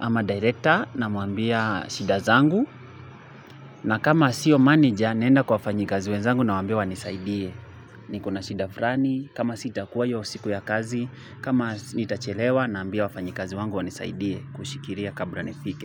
ama director na mwambia shida zangu. Na kama sio manager naenda kwa fanyakazi wenzangu nawaambia wanisaidie. Niko na shida fulani, kama sitakuwa hiyo siku ya kazi, kama nitachelewa naambia wafanyakazi wangu wanisaidie kushikilia kabla nifike.